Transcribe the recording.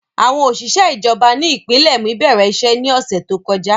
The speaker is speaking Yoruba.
Àwọn oṣiṣẹ ijọba ni ipinlẹ mi bẹrẹ iṣẹ ni ọsẹ to kọja.